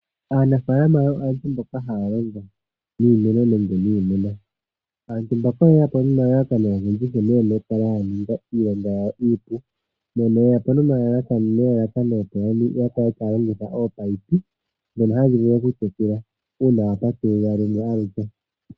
Aanafaalama oyo aantu mboka haya longo niimeno nenge niimuna. Aantu mbaka oye yapo nomalalakano ogendji, nkene yena oku kala ya ninga iilonga yawo iipu, mono ye yapo nelalakano opo ya kale taya longitha ominino, ndhono hadhi vulu oku tekela uuna wa patulula lumwe aluke.